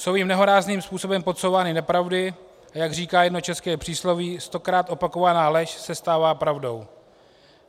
Jsou jim nehorázným způsobem podsouvány nepravdy, a jak říká jedno české přísloví, stokrát opakovaná lež se stává pravdou.